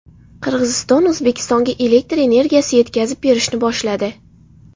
Qirg‘iziston O‘zbekistonga elektr energiyasi yetkazib berishni boshladi .